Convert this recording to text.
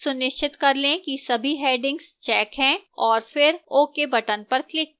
सुनिश्चित कर लें कि सभी headings checked हैं और फिर ok button पर click करें